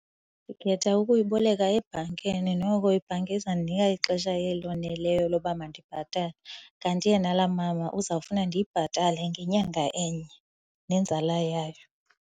Ndikhetha ukuyiboleka ebhankini, noko ibhanki izawundinika ixesha eloneleyo loba mandibhatale. Kanti yena laa mama uzawufuna ndiyibhatale ngenyanga enye nenzala yayo.